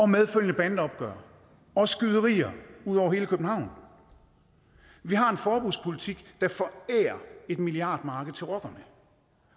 medfølgende bandeopgør og skyderier ud over hele københavn vi har en forbudspolitik der forærer et milliardmarked til rockerne